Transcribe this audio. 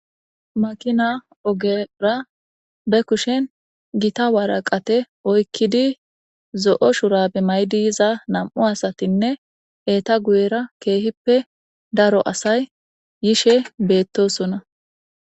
makina ogera be kushen gita waraqate oykkidi zo7o shurabe maydi yiza nam7u asatinne eeta guyera keehippe daro asay yishe beettosona